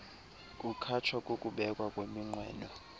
kukhatshwa kukubekwa kweminqweno